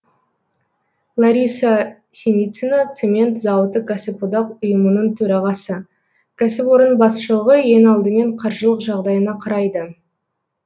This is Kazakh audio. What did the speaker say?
лариса синицина цемент зауыты кәсіподақ ұйымының төрағасы кәсіпорын басшылығы ең алдымен қаржылық жағдайына қарайды